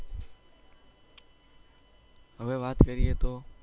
હવે વાત કરીએ તો.